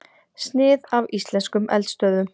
Snið af íslenskum eldstöðvum.